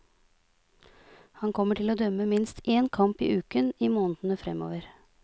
Han kommer til å dømme minst én kamp i uken i månedene fremover.